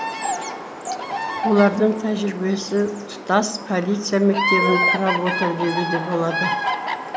олардың тәжірибесі тұтас полиция мектебін құрап отыр деуге де болады